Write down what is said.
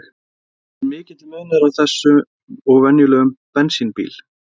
En er mikill munur á þessum og venjulegum bensínbíl?